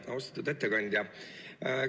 Austatud ettekandja!